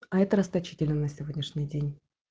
а это расточительно на сегодняшний день